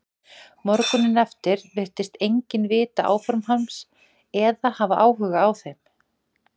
Morguninn eftir virtist enginn vita áform hans eða hafa áhuga á þeim.